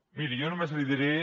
miri jo només li diré